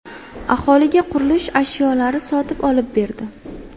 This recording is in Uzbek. Aholiga qurilish ashyolari sotib olib berdi.